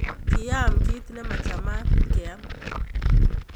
Ki aam kit ne machamat keam